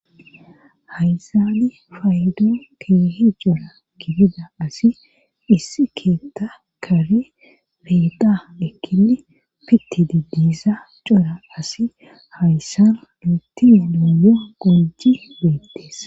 Hayzaadi faydo keehi jora kifida asi issi keetta kari beeda ekkili pitidi diisa cora asi hayssan luettienooyo goji beettees.